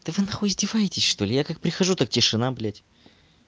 да вы нахуй издеваетесь что ли я так прихожу так тишина блять